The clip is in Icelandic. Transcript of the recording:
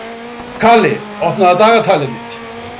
Kali, opnaðu dagatalið mitt.